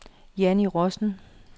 Jannie Rossen